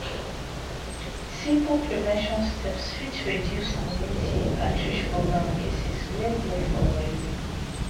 simple prevention steps fit reduce community outreach program cases well well for our area.